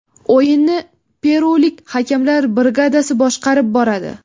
O‘yinni perulik hakamlar brigadasi boshqarib boradi .